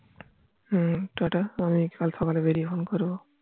হম ta ta আমি কাল সকালে বেরিয়ে phone করবো